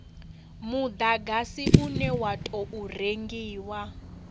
mudagasi une wa tou rengiwa